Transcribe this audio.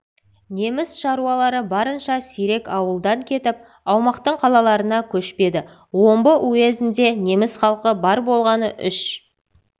неміс шаруалары барынша сирек ауылдан кетіп аумақтың қалаларына көшпеді омбы уезінде неміс халқы бар болғаны үш